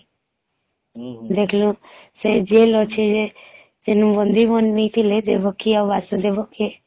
ଦେଖଃଲୁ ସେ Jail ଅଛି ଯେ ହୁଁ ହୁଁ ସେ ନୁ ବନ୍ଦୀ ବାନେଇଥିଲେ ଦେବକୀ ଆଉ ବାସୁଦେବ କେ